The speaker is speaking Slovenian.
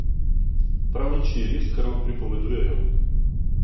Prav nič ni res, kar vam pripovedujejo.